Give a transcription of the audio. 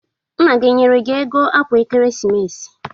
Nna gị o nyere gi ego akwa Ekeresimesi?